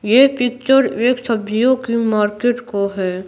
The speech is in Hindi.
ये पिक्चर एक सब्जियों की मार्केट का है।